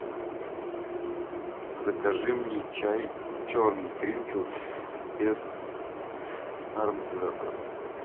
закажи мне чай черный гринфилд без ароматизаторов